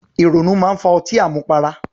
Ìrònú máa ń fa ọtí àmupara